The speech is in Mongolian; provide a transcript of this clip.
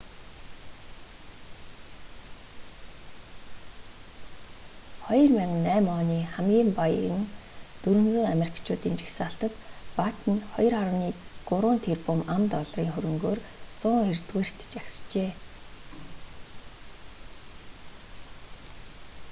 2008 оны хамгийн баян 400 америкчуудын жагсаалтад баттен 2,3 тэрбум ам.долларын хөрөнгөөр 190-рт жагсжээ